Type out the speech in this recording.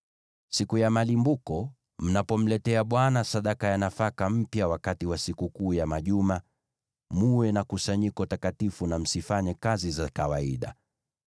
“ ‘Siku ya malimbuko, mnapomletea Bwana sadaka ya nafaka mpya wakati wa Sikukuu ya Majuma, mwe na kusanyiko takatifu na msifanye kazi zenu za kawaida.